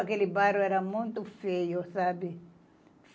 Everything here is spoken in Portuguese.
Aquele bairro era muito feio, sabe?